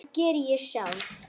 Það geri ég sjálf.